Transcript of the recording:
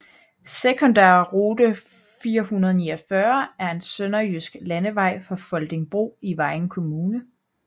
Sekundærrute 449 er en sønderjysk landevej fra Foldingbro i Vejen Kommune